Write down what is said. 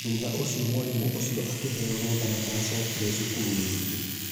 Thutha ũcio mwarimũ ũcio akĩveo rũtha na ndaacokire cukuru ringi